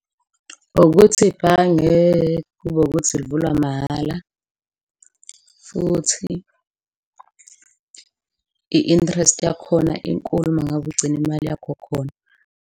Ukuthi ibhange kube ukuthi livulwa mahhala futhi i-interest yakhona inkulu mangabe ugcina imali yakho khona.